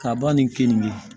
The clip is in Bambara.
Ka ban ni keninke